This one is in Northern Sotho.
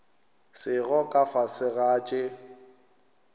sego ka fase ga tše